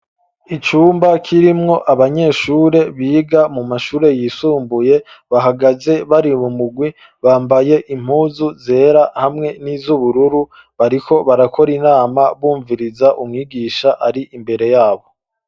Icumba kirimwo abanyeshure biga mu mashure yisumbuye bahagaze bari mumurwi bambaye impuzu zera hamwe nizu bururu bariko barakora inama bumviriza umwigisha ari imbere yabo.